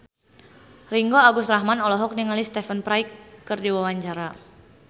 Ringgo Agus Rahman olohok ningali Stephen Fry keur diwawancara